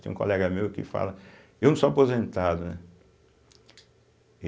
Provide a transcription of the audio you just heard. Tem um colega meu que fala... Eu não sou aposentado, né?